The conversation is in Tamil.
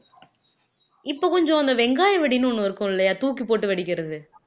இப்ப கொஞ்சம் அந்த வெங்காய வெடின்னு ஒண்ணு இருக்கும் இல்லையா தூக்கி போட்டு வெடிக்கிறது